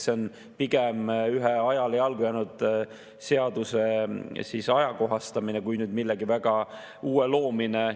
See on pigem ühe ajale jalgu jäänud seaduse ajakohastamine kui millegi väga uue loomine.